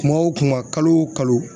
Kuma o kuma kalo o kalo